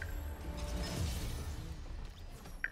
En chuny ng'ato owuon.